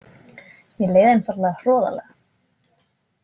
Mér leið einfaldlega hroðalega.